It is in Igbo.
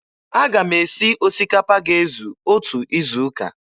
Aga m esi osikapa ga-ezu otu izuụka.